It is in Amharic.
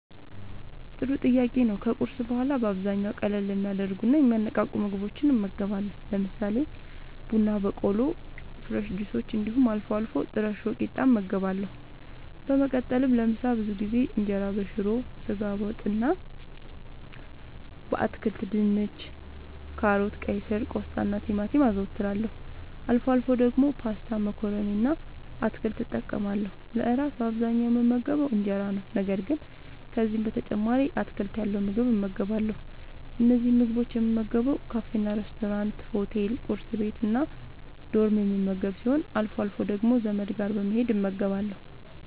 ጥሩ ጥያቄ ነዉ ከቁርስ በኋላ በአብዛኛዉ ቀለል የሚያደርጉና የሚያነቃቁ ምግቦችን እመገባለሁ። ለምሳሌ፦ ቡና በቆሎ፣ ፍረሽ ጁሶች እንዲሁም አልፎ አልፎ ጥረሾ ቂጣ እመገባለሁ። በመቀጠልም ለምሳ ብዙ ጊዜ እንጀራበሽሮ፣ በስጋ ወጥ እና በአትክልት( ድንች፣ ካሮት፣ ቀይስር፣ ቆስጣናቲማቲም) አዘወትራለሁ። አልፎ አልፎ ደግሞ ፓስታ መኮረኒ እና አትክልት እጠቀማለሁ። ለእራት በአብዛኛዉ የምመገበዉ እንጀራ ነዉ። ነገር ግን ከዚህም በተጨማሪ አትክልት ያለዉ ምግብ እመገባለሁ። እነዚህን ምግቦች የምመገበዉ ካፌናሬስቶራንት፣ ሆቴል፣ ቁርስ ቤት፣ እና ዶርም የምመገብ ሲሆን አልፎ አልፎ ደግሞ ዘመድ ጋር በመሄድ እመገባለሁ።